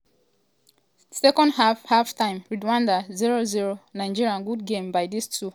second half half-time rwanda 0-0 nigeria good game by dis two team as dem battle out for di afcon qualifier but no goal yet.